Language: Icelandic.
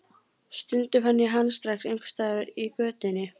Stundum fann ég hann strax einhvers staðar í götunni.